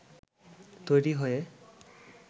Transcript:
তৈরি হয়ে